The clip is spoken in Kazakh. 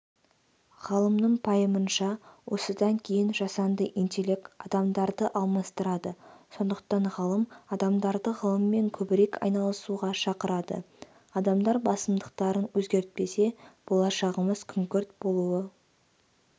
ғалымның пайымынша осыдан кейін жасанды интелект адамдарды алмастырады сондықтан ғалым адамдарды ғылыммен көбірек айналысуға шақырады адамдар басымдықтарын өзгертпесе болашағымыз күңгірт болуы